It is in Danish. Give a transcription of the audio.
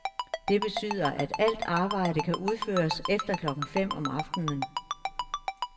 Det betyder, at alt arbejde kan udføres efter klokken fem om aftenen.